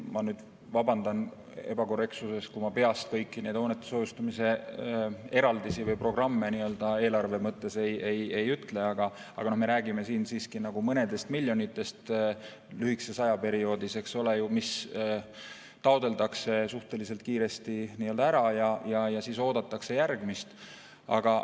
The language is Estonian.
Ma vabandan ebakorrektsuse pärast, kui ma peast kõiki neid hoonete soojustamise eraldisi või programme nii-öelda eelarve mõttes ei ütle –, aga me räägime siin siiski mõnest miljonist lühikesel perioodil, eks ole, mis taotletakse suhteliselt kiiresti ära ja siis oodatakse järgmist vooru.